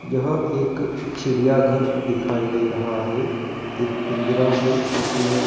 यह एक चिड़ियाघर दिखाई दे रहा है एक पिंजरा हैं जिसमें--